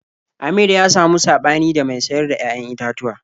Amir ya samu saɓani da mai sayar da 'ya'yan itatuwa.